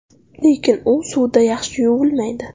Lekin u suvda yaxshi yuvilmaydi.